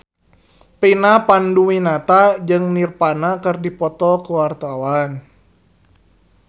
Vina Panduwinata jeung Nirvana keur dipoto ku wartawan